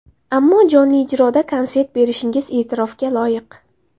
Ammo, jonli ijroda konsert berishingiz e’tirofga loyiq.